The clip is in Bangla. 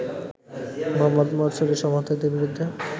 মোহাম্মদ মোরসির সমর্থকদের বিরুদ্ধে